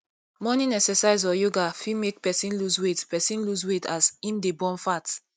morning exercise or yoga fit make person loose weight person loose weight as im dey burn fat